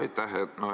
Aitäh!